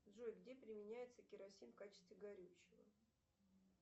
джой где применяется керосин в качестве горючего